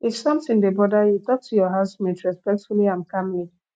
if something dey bother you talk to your housemate respectfully and calmly